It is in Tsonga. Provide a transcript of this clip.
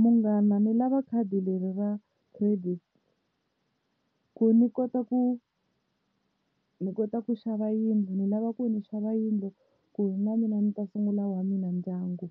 Munghana ndzi lava khadi leri ra credit ku ni kota ku ni kota ku xava yindlu ni lava ku ni xava yindlu ku na mina ni ta sungula wa mina ndyangu